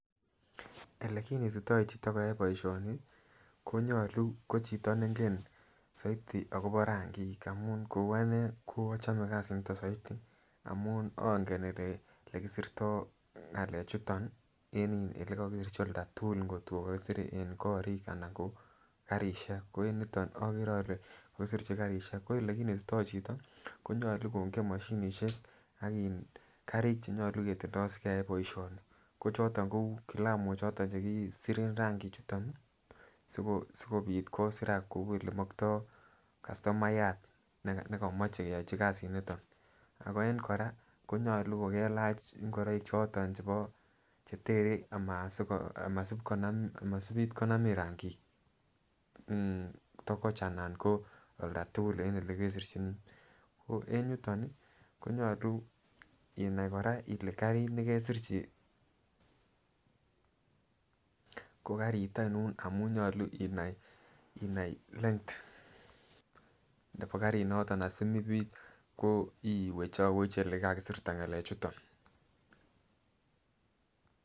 Ele kinetito chito koyai boishoni konyolu ko chito nengen soiti akobo rankik amun kou ane ko ochome kasit niton soiti amun onge olekisirto ngalek chuton nii en olekokisirchin olda tukul kotko kokisire en korik anan ko karishek koniton okere ole kokisirchi karishek ko olekinetito chito konyolu kongen moshinishek ak karik chenyolu ketindo en boishoni ko choton kou kilamok choton chekisiren ranki chuton sikopit kosirak kou ole mokto kastomayat nekomoche keyochi kasit niton ako en koraa konyolu kokelach ingoroik choton chebo chetere amasiko amasipit konamin rangik mmh tokoch anan ko olda tukul en ole kesirchinii. En yuton konyolu inai koraa ile karit nekesirchi ko karit oinon amun nyolu inai inai length nebo karit noton asimopit ko iwechowech ole kakisirta ngalek chuton.